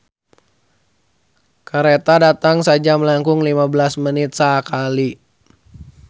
"Kareta datang sajam langkung lima belas menit sakali"